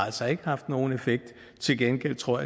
haft nogen effekt til gengæld tror